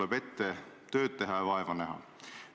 Mina olen öelnud jälle vastupidi, et ma ikka jätkaks edasi.